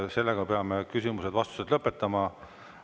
Sellega peame küsimused-vastused lõpetama.